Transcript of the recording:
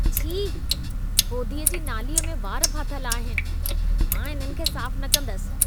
छी! होधीअ जी नालीअ में वार फाथल आहिन। मां इन्हनि खे साफ न कंदसि।